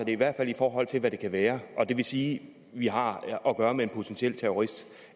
i hvert fald i forhold til hvad det kan være og det vil sige at vi har at gøre med en potentiel terrorist